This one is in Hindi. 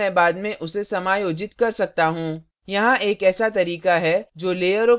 यहाँ एक ऐसा तरीका है जो लेयरों के साथ एक साधारण filter का उपयोग करता है